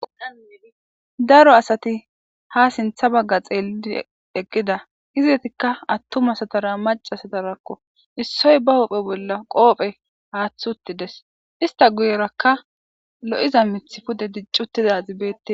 daro asati ha sintha bagga xeelidi eggida hizetikka attumasatara macasatarakko issoy ba oophe bolla qoophe haaththi uttides ista guyerakka lo7iza mith pude diccuttida zibeette